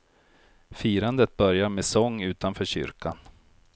Firandet börjar med sång utanför kyrkan.